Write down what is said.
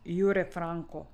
Jure Franko.